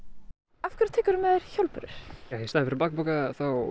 af hverju tekurðu með þér hjólbörur í staðinn fyrir bakpoka